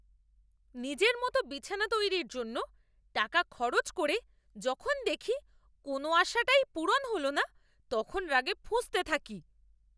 নিজের মতো বিছানা তৈরির জন্য টাকা খরচ করে যখন দেখি কোনও আশাটাই পূরণ হল না তখন রাগে ফুঁসতে থাকি।